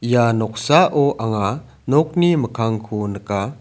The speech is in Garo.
ia noksao anga nokni mikkangko nika.